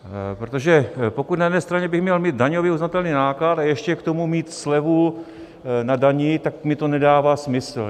Protože pokud na jedné straně bych měl mít daňově uznatelný náklad a ještě k tomu mít slevu na dani, tak mi to nedává smysl.